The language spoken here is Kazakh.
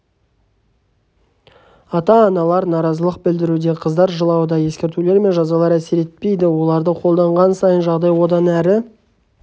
ата-аналар наразылық білдіруде қыздар жылауда ескертулер мен жазалар әсер етпейді оларды қолданған сайын жағдай одан әрі